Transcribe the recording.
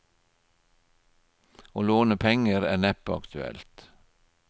Å låne penger er neppe aktuelt.